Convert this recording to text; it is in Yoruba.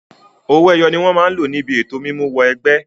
Àwọn owó ẹyọ ni wọn máa lò níbi ètò mímú wọ ẹgbẹ́.